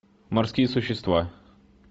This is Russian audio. морские существа